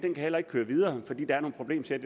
køre videre fordi der er nogle problemsæt